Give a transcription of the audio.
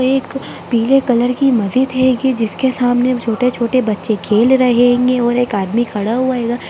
एक पीले कलर की मस्जिद है जिसके सामने छोटे-छोटे बच्चे खेल रहेगें और आदमी खड़ा हुआ हैगा।